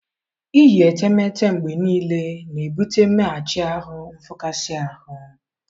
Iyi etemeete mgbe niile na-ebute mmeghachi ahụ nfụkasị ahụ.